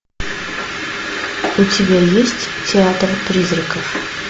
у тебя есть театр призраков